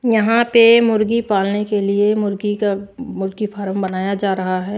यहां पे मुर्गी पालने के लिए मुर्गी का मुर्गी फार्म बनाया जा रहा है।